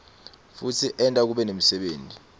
futsi enta kube nemsebenti